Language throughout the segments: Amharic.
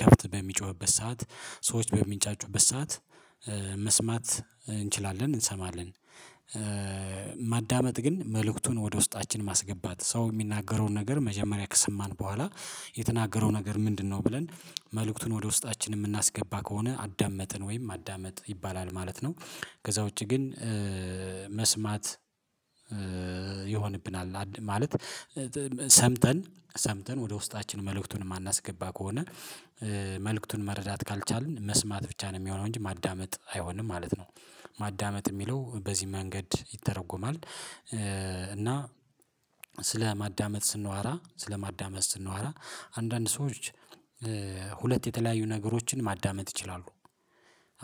ከብት በሚጮህበት ሰዓት ሰዎች በሚንጫጩበት ሰዓት መስማት እንችላለን እንሰማለን። ማዳመጥ ግን መልእክቱን ወደ ውስጣችን ማስገባት ሰው የሚናገረውን ነገር መጀመሪያ ከሰማን በኋላ የተናገረው ነገር ምንድነው ብለን መልእክቱን ወደ ውስጣችን የምናስገባ ከሆነ አዳመጥን ወይም ማዳመጥ ይባላል ማለት ነው። ከዛ ውጪ ግን መስማት ይሆንብናል ማለት ሰምተን ሰምተን ወደ ውስጣችን መልእክቱን የማናስገባ ከሆነ መልእክቱን መረዳት ካልቻልን መስማት ብቻ ነው የሚሆነው እንጂ ማዳመጥ አይሆንም ማለት ነው። ማዳመጥ የሚለው በዚህ መንገድ ይተረጎማል። እና ስለማዳመጥ ስናወራ ስለማዳመጥ ስንዋራ አንዳንድ ሰዎች ሁለት የተለያዩ ነገሮችን ማዳመጥ ይችላሉ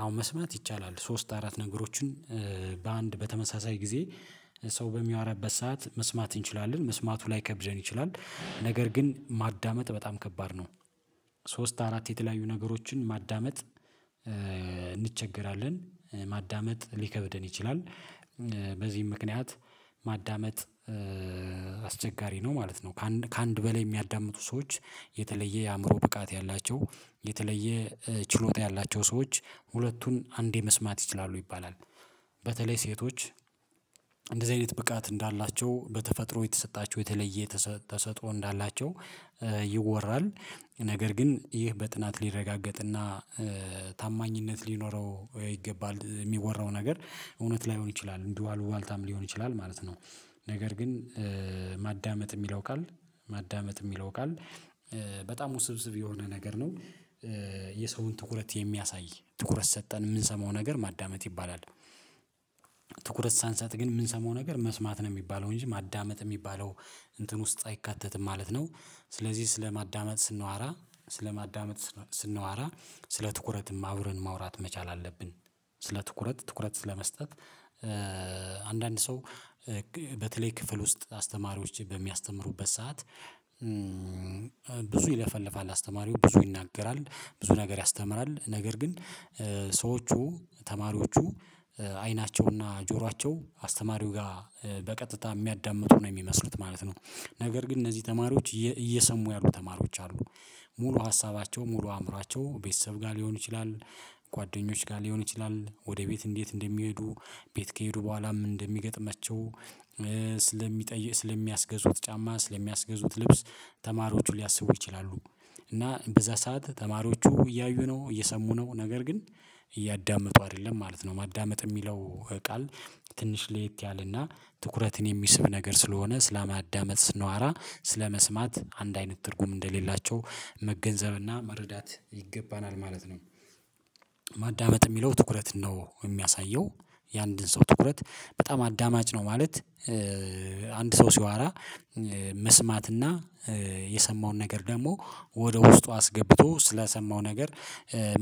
አሁን መስማት ይቻላል ሶስት አራት ነገሮችን በአንድ በተመሳሳይ ጊዜ ሰው በሚያወራበት ሰዓት መስማት እንችላለን መስማቱ ላይ ከብደን ይችላል ነገር ግን ማዳመጥ በጣም ከባድ ነው። ሶስት አራት የተለያዩ ነገሮችን ማዳመጥ እንቸገራለን ማዳመጥ ሊከብደን ይችላል። በዚህም ምክንያት ማዳመጥ አስቸጋሪ ነው ማለት ነው። ከአንድ በላይ የሚያዳምጡ ሰዎች የተለየ የአእምሮ ብቃት ያላቸው የተለየ ችሎታ ያላቸው ሰዎች ሁለቱን አንዴ መስማት ይችላሉ ይባላል። በተለይ ሴቶች እንደዚህ አይነት ብቃት እንዳላቸው በተፈጥሮ የተሰጣቸው የተለየ ተሰጥኦ እንዳላቸው ይወራል። ነገር ግን ይህ በጥናት ሊረጋገጥና ታማኝነት ሊኖረው ይገባል የሚወራው ነገር እውነት ላይሆን ይችላል እንዲሁ አሉባልታም ሊሆን ይችላል ማለት ነው። ነገር ግን ማዳመጥ የሚለው ቃል ማዳመጥ የሚለው ቃል በጣም ውስብስብ የሆነ ነገር ነው። የሰውን ትኩረት የሚያሳይ ትኩረት ሰጠን የምንሰማው ነገር ማዳመጥ ይባላል። ትኩረት ሳንሳጥ ግን የምንሰማው ነገር መስማት ነው የሚባለው እንጂ ማዳመጥ የሚባለው እንትን ውስጥ አይካተትም ማለት ነው። ስለዚህ ስለማዳመጥ ስንዋራ ስለማዳመጥ ስንዋራ ስለ ትኩረትም አውረን ማውራት መቻል አለብን። ስለ ትኩረት ትኩረት ስለመስጠት አንዳንድ ሰው በተለይ ክፍል ውስጥ አስተማሪዎች በሚያስተምሩበት ሰዓት ብዙ ይለፈልፋል አስተማሪው ብዙ ይናገራል ብዙ ነገር ያስተምራል ነገር ግን ሰዎቹ ተማሪዎቹ አይናቸውና ጆሯቸው አስተማሪው ጋር በቀጥታ የሚያዳምጡ ነው የሚመስሉት ማለት ነው። ነገር ግን እነዚህ ተማሪዎች እየሰሙ ያሉ ተማሪዎች አሉ። ሙሉ ሀሳባቸው ሙሉ አእምሯቸው ቤተሰብ ጋር ሊሆኑ ይችላል። ጓደኞች ጋር ሊሆን ይችላል ወደ ቤት እንዴት እንደሚሄዱ ቤት ከሄዱ በኋላም እንደሚገጥማቸው ስለሚጠይቅ ስለሚያስገዙት ጫማ ስለሚያስገዙት ልብስ ተማሪዎቹ ሊያስቡ ይችላሉ። እና በዛ ሰዓት ተማሪዎቹ እያዩ ነው እየሰሙ ነው ነገር ግን እያዳመጡ አይደለም ማለት ነው። ማዳመጥ የሚለው ቃል ትንሽ ለየት ያለና ትኩረትን የሚስብ ነገር ስለሆነ ስለማዳመጥ ስንዋራ ስለመስማት አንድ አይነት ትርጉም እንደሌላቸው መገንዘብና መረዳት ይገባናል ማለት ነው። ማዳመጥ የሚለው ትኩረት ነው የሚያሳየው የአንድን ሰው ትኩረት በጣም አዳማጭ ነው ማለት። አንድ ሰው ሲዋራ መስማትና የሰማውን ነገር ደግሞ ወደ ውስጡ አስገብቶ ስለሰማው ነገር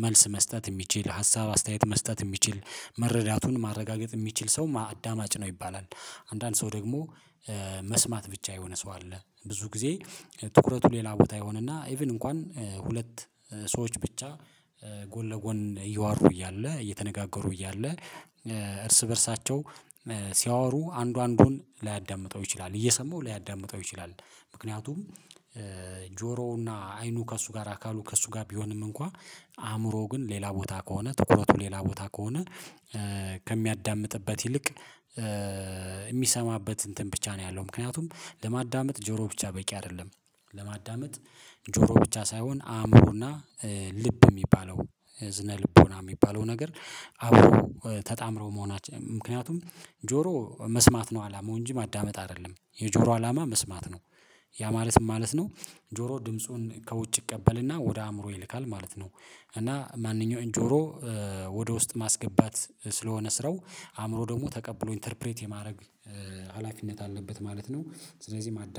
መልስ መስጠት የሚችል ሀሳብ አስተያየት መስጠት የሚችል መረዳቱን ማረጋገጥ የሚችል ሰው አዳማጭ ነው ይባላል። አንዳንድ ሰው ደግሞ መስማት ብቻ የሆነ ሰው አለ ብዙ ጊዜ ትኩረቱ ሌላ ቦታ ይሆንና ኢቭን እንኳን ሁለት ሰዎች ብቻ ጎን ለጎን እያወሩ እያለ እየተነጋገሩ እያለ እርስ በእርሳቸው ሲያወሩ አንዱ አንዱን ላያዳምጠው ይችላል እየሰማው ላያዳምጠው ይችላል። ምክንያቱም ጆሮውና አይኑ ከእሱ ጋር አካሉ ከእሱ ጋር ቢሆንም እንኳን አእምሮው ግን ሌላ ቦታ ከሆነ ትኩረቱ ሌላ ቦታ ከሆነ ከሚያዳምጥበት ይልቅ የሚሰማበት እንትን ብቻ ነው ያለው ምክንያቱም ለማዳመጥ ጆሮ ብቻ በቂ አይደለም። ለማዳመጥ ጆሮ ብቻ ሳይሆን አእምሮና ልብ የሚባለው እዝነ ልቦና የሚባለው ነገር አዎ ተጣምረው መሆናቸው ምክንያቱም ጆሮ መስማት ነው አላመው እንጂ ማዳመጥ አይደለም የጆሮ አላማ መስማት ነው። ያ ማለት ማለት ነው። ጆሮ ድምፁን ከውጭ እቀበልና ወደ አእምሮ ይልካል ማለት ነው። እና ማንኛውን ጆሮ ወደ ውስጥ ማስገባት ስለሆነ ስረው አእምሮ ደግሞ ተቀብሎ ኢንተርፕሬት የማድረግ ሀላፊነት አለበት ማለት ነው። ስለዚህ ማዳመ